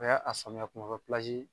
Bɛɛ a sanuya kuma bɛɛ pilazi